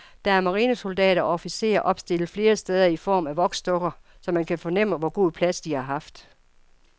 Der er marinesoldater og officerer opstillet flere steder i form af voksdukker, så man kan fornemme, hvor god plads de har haft.